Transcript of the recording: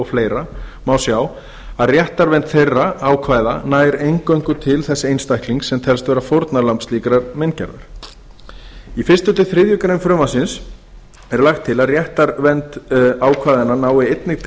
fleira má sjá að réttarvernd þeirra ákvæða nær eingöngu til þess einstaklings sem telst vera fórnarlamb slíkrar meingerðar í fyrsta til þriðju greinar frumvarpsins er lagt til að réttarvernd ákvæðanna nái einnig til